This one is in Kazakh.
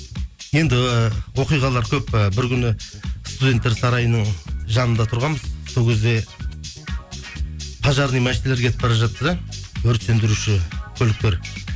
енді оқиғалар көп і бір күні студенттер сарайының жанында тұрғанбыз сол кезде пожарный машиналар кетіп бара жатты да өрт сөндіруші көліктер